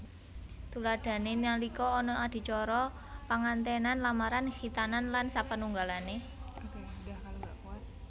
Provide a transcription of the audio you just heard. Tuladhané nalika ana adicara pengantènan lamaran khitanan lan sapanunggalané